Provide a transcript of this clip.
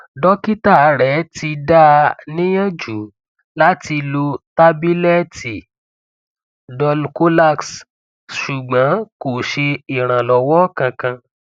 dọkítà rẹ ti dá a níyànjú láti lo tábìlẹtì dulcolax ṣùgbọn kò ṣe ìrànlọwọ kankan